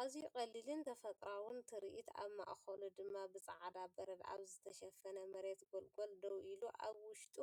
ኣዝዩ ቀሊልን ተፈጥሮኣውን ትርኢት፣ ኣብ ማእከሉ ድማ ብጻዕዳ በረድ ኣብ ዝተሸፈነ መሬት ጎልጎል ደው ኢሉ፡ኣብ ውሽጡ